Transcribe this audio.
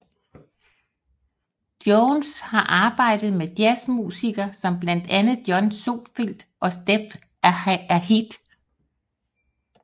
Jones har arbejdet med jazz musiker som blandt andre John Scofield og Steps Ahead